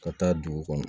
Ka taa dugu kɔnɔ